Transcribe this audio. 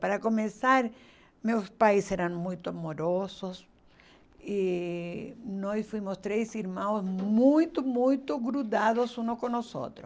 Para começar, meus pais eram muito amorosos e nós fomos três irmãos muito, muito grudados uns com os outros.